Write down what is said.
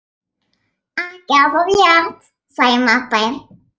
Ekki er það rétt, sagði Marteinn.